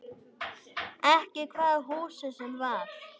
Ekki hvaða húsi sem var.